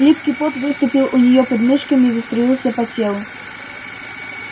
липкий пот выступил у нее под мышками и заструился по телу